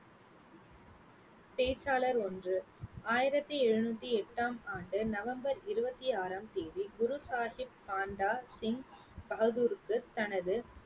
பேச்சாளர் ஒன்று. ஆயிரத்தி எழுநூத்தி எட்டாம் ஆண்டு நவம்பர் இருபத்தி ஆறாம் தேதி குரு சாஹிப் பண்டா சிங் பகதூர்க்கு தனது